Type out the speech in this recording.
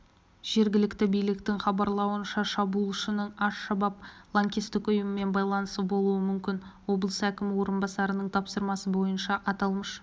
жергілікті биліктің хабарлауынша шабуылшының аш-шабаб лаңкестік ұйымымен байланысы болуы мүмкін облыс әкімі орынбасарының тапсырмасы бойынша аталмыш